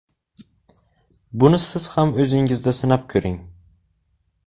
Buni siz ham o‘zingizda sinab ko‘ring!